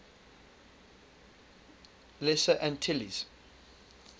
lesser antilles